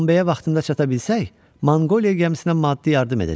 Bombeyə vaxtında çata bilsək, Manqoliya gəmisinə maddi yardım edəcək.